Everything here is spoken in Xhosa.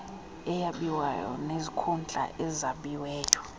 eyabiweyo nezikhundla ezabiweyo